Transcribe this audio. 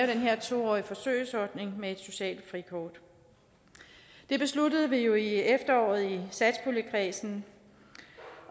den her to årige forsøgsordning med et socialt frikort det besluttede vi jo i efteråret i satspuljekredsen